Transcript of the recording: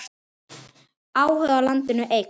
Áhugi á landinu eykst.